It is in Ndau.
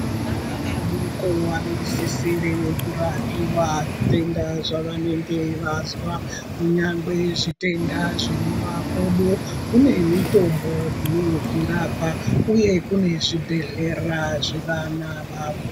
Ana adoko anosisire kurapiwa zvitenda zvavanenge vazwa nyangwe zvitenda zvemumakodo kune mitombo inozvirapa uye kune zvibhadhlera zvevana vavo.